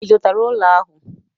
Ị zụtara ụlọ ahụ?